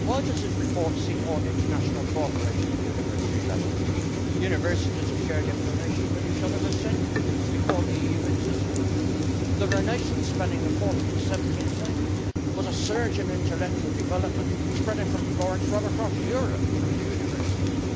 Madam President, why does this report seek more international cooperation at university level? Universities have shared information with each other for centuries, before the EU existed. The Renaissance, spanning the 14th to 17th centuries, was a surge in intellectual development spreading from Florence right across Europe through the universities.